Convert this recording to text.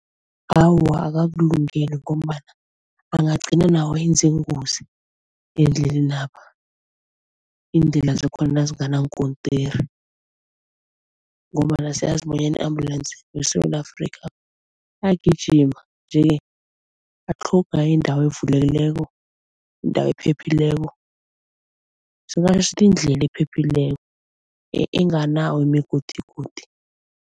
Awa akakulungeli ngombana bangagcina nawo enze iingozi endlelenapha, iindlela zakhona nazinganankontiri ngombana siyazi bonyana i-ambulance weSewula Afrika ayagijima nje-ke atlhoga indawo evulekileko, indawo ephephileko, indlela ephephileko enganawo imigodigodi.